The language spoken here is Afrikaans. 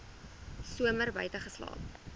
somer buite geslaap